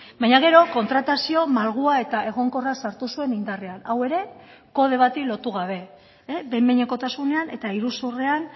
baina gero kontratazio malgua eta egonkorra sartu zuen indarrean hau ere kode bati lotu gabe behin behinekotasunean eta iruzurrean